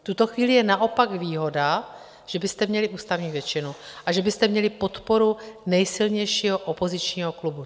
V tuto chvíli je naopak výhoda, že byste měli ústavní většinu a že byste měli podporu nejsilnějšího opozičního klubu.